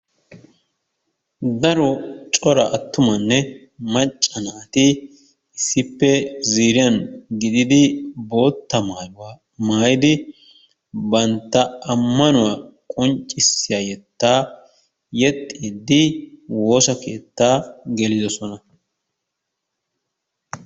Daro cora attumanne macca naati issippe ziiriyan gidid bootta maayuwaa maayidi bantta amanuwaa qonccissiya yettaa yexxidi woosa keettaa gelidosona.